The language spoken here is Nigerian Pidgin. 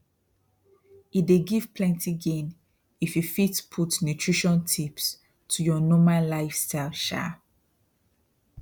e dey give plenty gain if you fit put nutrition tips to your normal lifestyle um